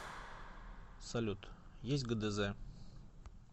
салют есть гдз